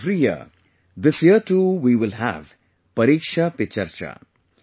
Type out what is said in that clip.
Like every year, this year too we will have 'Pariksha Pe Charcha'